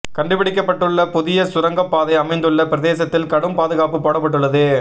கண்டுபிடிக்கப்பட்டுள்ள புதிய சுரங்கப் பாதை அமைந்துள்ள பிரதேசத்தில் கடும் பாதுகாப்பு போடப்பட்டுள்ளது